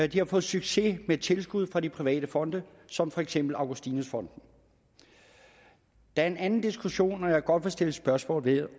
de har fået succes med tilskud fra de private fonde som for eksempel augustinus fonden der er en anden diskussion som jeg godt vil stille spørgsmål